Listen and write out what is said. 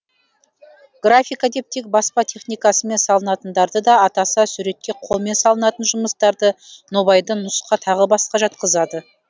графика деп тек баспа техникасымен салынатындарды да атаса суретке қолмен салынатын жұмыстарды нобайды нұсқа тағы басқа жатқызады